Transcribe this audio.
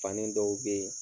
Fani dɔw be ye